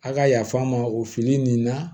A ka yafa n ma o fili nin na